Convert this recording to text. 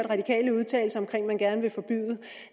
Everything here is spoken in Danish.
radikale udtale sig om